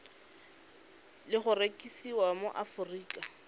le go rekisiwa mo aforika